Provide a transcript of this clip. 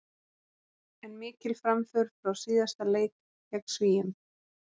En mikil framför frá síðasta leik gegn Svíum.